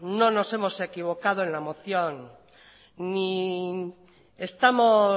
no nos hemos equivocado en la moción ni estamos